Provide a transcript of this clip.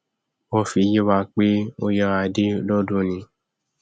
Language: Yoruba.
wọn fi yé wa pé ó yára dé lọdúnìí